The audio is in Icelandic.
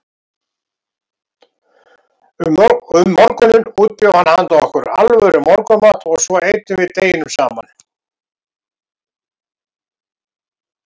Um morguninn útbjó hann handa okkur alvöru morgunmat og svo eyddum við deginum saman.